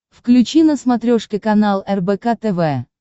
включи на смотрешке канал рбк тв